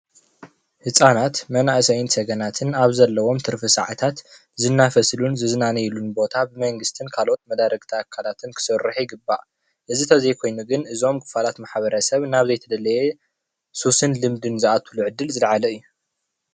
ህፃናት መናእሰይን ሰገናትን ኣብ ዘለዎም ትርፊ ሰዓታት ዝናፈስሉን ዝዝናነይሉን ቦታ ብመንግስትን ካልኦት መዳርግቲ ኣካላትን ክስርሑ ይግባእ፡፡ እዚ እንተዘይኮይኑ ግን እዞም ክፋላት ማሕበረሰብ ናብ ዘይተደለየ ሱስን ዝኣትዉሉ ዕድል ዝለዓለ እዩ፡፡